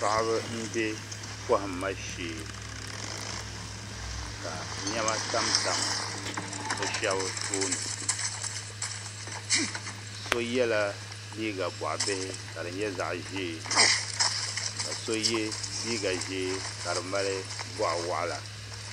Paɣaba n bɛ kohamma shee ka niɛma tamtam bi shab tooni so yɛla liiga boɣa bihi ka di nyɛ zaɣ ʒiɛ ka so yɛ liiga ʒiɛ ka di mali boɣa waɣala